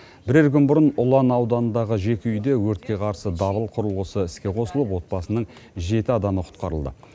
бірер күн бұрын ұлан ауданындағы жеке үйде өртке қарсы дабыл құрылғысы іске қосылып отбасының жеті адамы құтқарылды